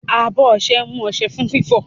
Abọ́ ọṣẹ mú ọṣẹ fún fífọ̀.